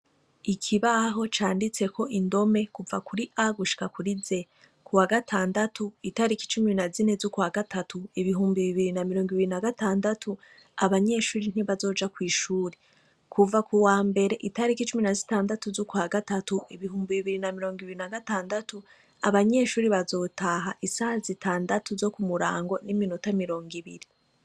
Ikibaho canditseko indome kuva kuri A gushikakuri Z ku wa gatandatu itariki icumi na zine z'ukwa gatatu ibihumbi bibiri na mirongo ibiri na gatandatu abanyeshuri ntibazoja kw'ishuri kuva ku wa mbere itariko icumi na zitandatu z'ukwa gatatu ibihumbi bibiri na mirongo ibiri na gatandatu abanyeshuri bazotaha isa zitandatu zo ku murango n'iminota mirongo ibiri.